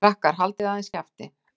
Krakkar, haldið þið aðeins kjafti!